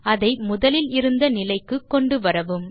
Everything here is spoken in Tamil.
அதை முதலில் இருந்த நிலைக்கு கொண்டு வரவும்